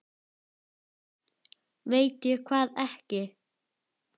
Veit ég hvað ekki?